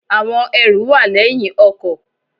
Àwọn ẹrù wà léyìn ọkò